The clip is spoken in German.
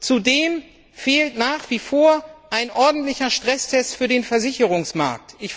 Zudem fehlt nach wie vor ein ordentlicher Stresstest für den Versicherungsmarkt.